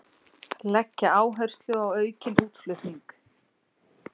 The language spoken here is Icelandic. Leggja áherslu á aukinn útflutning